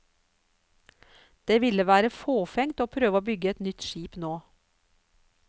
Det ville være fåfengt å prøve å bygge et nytt skip nå.